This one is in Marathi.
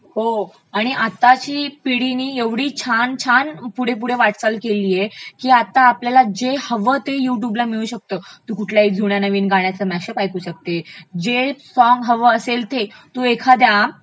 हो आणि आताची पिढीनी एवढी छान छान पुढे पुढे वाटचाल केलीय की आता आपल्याला जे हवं ते यूट्युबला मिळू शकतं. तू कुठल्याही नवीन जुन्या गाण्यचं मॅशअप ऐकू शकते, जे सॉंग हवं असेल ते, तू एखाद्या